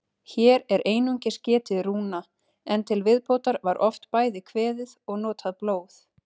Hér er einungis getið rúna, en til viðbótar var oft bæði kveðið og notað blóð.